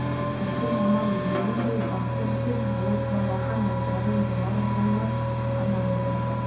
әлгі жаман немең бе батыр деп болыс балаға назарын болар-болмас қана аударды